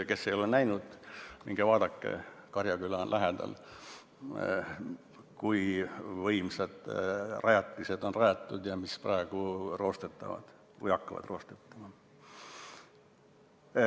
Kes ei ole näinud, minge vaadake, kui võimsad rajatised Karjaküla lähedale on rajatud, mis roostetavad või hakkavad roostetama.